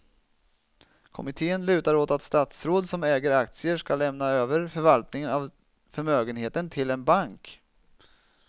Kommittén lutar åt att statsråd som äger aktier ska lämna över förvaltningen av förmögenheten till en bank.